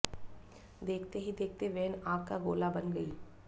देखते ही देखते वैन आग का गोला बन गई